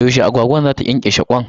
Yaushe agwagwan za ta ƙyanƙyashe kwayayenta?